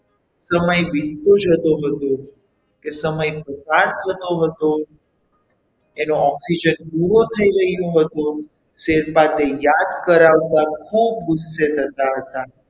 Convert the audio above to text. સમય વીતતો જતો હતો કે સમય ફટાફટ જતો હતો એનો oxygen પૂરો થઈ રહ્યો હતો શેરપા તે યાદ કરાવતા ખૂબ ગુસ્સે થતા હતા.